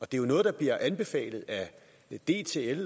det er jo noget der bliver anbefalet af dtl